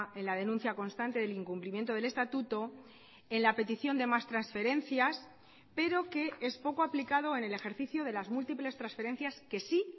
en la denuncia constante del incumplimiento del estatuto en la petición de más transferencias pero que es poco aplicado en el ejercicio de las múltiples transferencias que sí